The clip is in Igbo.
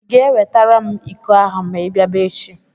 Ị ga-ewetara m iko ahụ ma i bịaba echi?